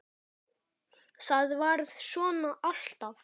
ÞAÐ VARÐ SVONA ALLTAF